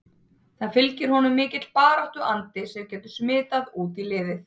Það fylgir honum mikill baráttu andi sem getur smitað út í liðið?